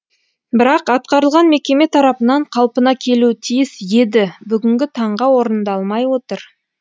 бірақ атқарылған мекеме тарапынан қалпына келуі тиіс еді бүгінгі таңға орындалмай отыр